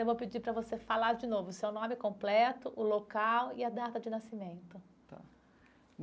Eu vou pedir para você falar de novo seu nome completo, o local e a data de nascimento.